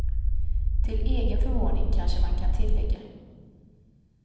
Till egen förvåning, kanske man kan tillägga.